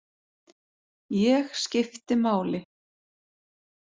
Ég skipti máli.